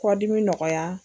Kɔdimi nɔgɔya.